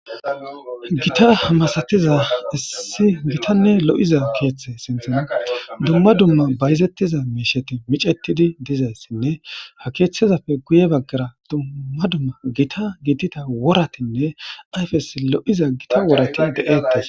gita masatiza issi gitanne lo7iza keeththe sinthan dumma dumma bayzettiza miisheti micettidi dizayssinne ha keeththezappe guye baggara dumma dumma gita gitita woratinne ayfes lo7iza gita worati de7ettes